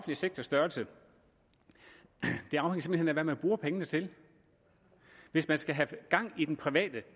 sektors størrelse det afhænger hvad man bruger pengene til hvis man skal have gang i den private